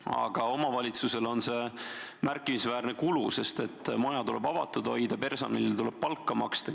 Aga omavalitsusele on see märkimisväärne kulu, sest maja tuleb avatud hoida, personalile tuleb palka maksta.